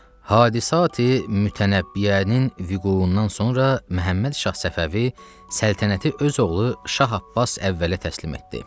Hadisə-i mütənəbbiyənin vukuundan sonra Məhəmməd Şah Səfəvi səltənəti öz oğlu Şah Abbas əvvələ təslim etdi.